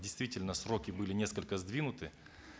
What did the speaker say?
действительно сроки были несколько сдвинуты